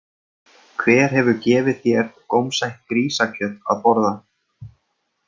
Hver hefur gefið þér gómsætt grísakjöt að borða?